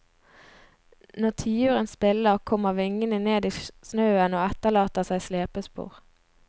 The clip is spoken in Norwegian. Når tiuren spiller, kommer vingene ned i snøen, og etterlater seg slepespor.